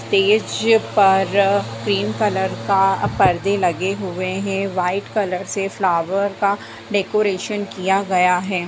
Stage पर pink colour का पर्दे लगे हुए हैं। व्हाइट कलर से फ्लावर का डेकरेशन किया गया है।